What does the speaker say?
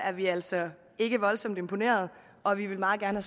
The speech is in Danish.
vi altså ikke voldsomt imponeret og vi vil meget gerne